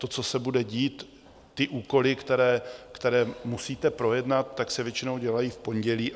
To, co se bude dít, ty úkoly, které musíte projednat, tak se většinou dělají v pondělí.